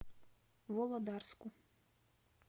володарску